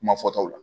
Kuma fɔtaw la